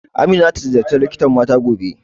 Amina za ta ziyarci likitan mata gobe